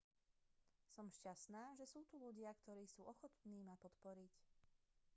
som šťastná že sú tu ľudia ktorí sú ochotní ma podporiť